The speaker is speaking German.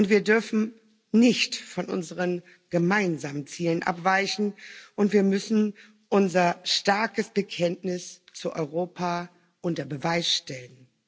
Wir dürfen nicht von unseren gemeinsamen Zielen abweichen, und wir müssen unser starkes Bekenntnis zu Europa unter Beweis stellen.